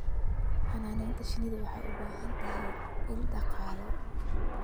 Xannaanada shinnidu waxay u baahan tahay ilo dhaqaale.